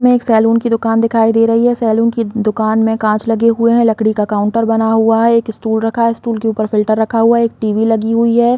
में एक सैलून की दूकान दिखाई दे रही है सैलून की दुकान में कांच लगे हुए है लकड़ी का काउंटर बना हुआ है एक स्टूल रखा है स्टूल के ऊपर फ़िल्टर रखा हुआ है एक टी_वी लगी हुई है।